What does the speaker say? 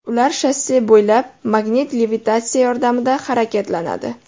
Ular shosse bo‘ylab magnit levitatsiya yordamida harakatlanadi.